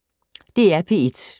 DR P1